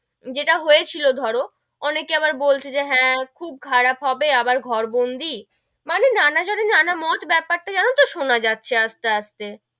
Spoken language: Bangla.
যেটা হয়েছিল ধরো, অনেকে আবার বলছে যে হেঁ, খুব খারাপ হবে আবার ঘরবন্দি মানে নানা জনের নানা মত বেপার টা জানো তো সোনা যাচ্ছে আস্তে আস্তে,